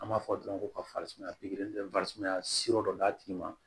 An b'a fɔ dɔrɔn ko ka farisumaya pikiri sira dɔ d'a tigi ma